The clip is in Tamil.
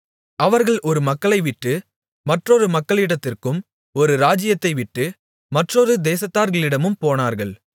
அவர்கள் ஒரு மக்களைவிட்டு மற்றொரு மக்களிடத்திற்கும் ஒரு ராஜ்ஜியத்தைவிட்டு மற்றொரு தேசத்தார்களிடமும் போனார்கள்